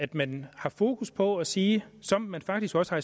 at man har fokus på at sige som man faktisk også